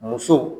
Muso